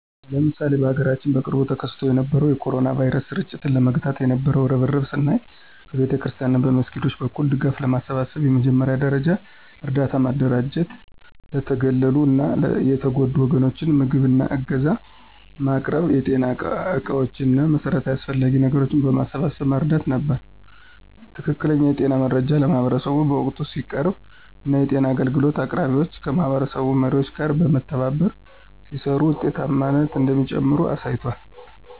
ለምሳሌ በሀገራችን በቅርቡ ተከስቶ የነበረውን የ ኮሮና ቫይረስ ስርጭት ለመግታት የነበው እርብርብን ስናይ በቤተክርስቲያናት እና መስጊዶች በኩል ድጋፍ በማሰባሰብ የመጀመሪያ ደረጃ እርዳታ ማደራጀት ለተገለሉ እና የተጎዱ ወገኖች ምግብ እና ዕገዛ ማቅረብ የጤና ዕቃዎች እና መሠረታዊ አስፈላጊ ነገሮችን በማሰባሰብ መርዳት ነበር። ትክክለኛ የጤና መረጃ ለማህበረሰቡ በወቅቱ ሲቀርብ እና የጤና አገልግሎት አቅራቢዎች ከማህበረሰብ መሪዎች ጋር በመተባበር ሲሰሩ ውጤታማነት እንደሚጨምር አሳይቷል።